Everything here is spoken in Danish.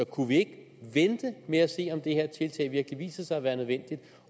kunne vi ikke vente med at se om det her tiltag virkelig viser sig at være nødvendigt